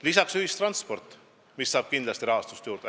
Lisaks ühistransport, mis saab kindlasti rahastust juurde.